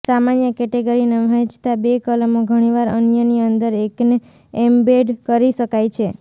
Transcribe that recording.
સામાન્ય કેટેગરીને વહેંચતા બે કલમો ઘણીવાર અન્યની અંદર એકને એમ્બેડ કરી શકાય છે